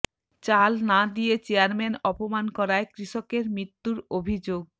চাল না দিয়ে চেয়ারম্যান অপমান করায় কৃষকের মৃত্যুর অভিযোগ